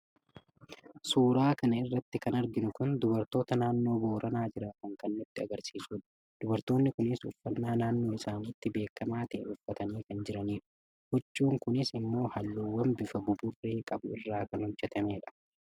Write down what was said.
suuraa kana irratti kan arginu kun dubartoota naannoo booranaa jiraatan kan nutti agarsiisudha. dubartoonni kunis uffannaa naannoo isaaniitti beekamaa ta'e uffatanii kan jiranidha. huccuun kunis immoo halluuwwan bifa buburree qabu irraa kan hojjetamudha.